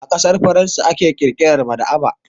A ƙasar Faransa aka ƙirƙira maɗaba'a.